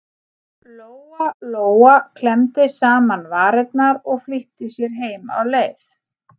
Lóa Lóa klemmdi saman varirnar og flýtti sér heim á leið.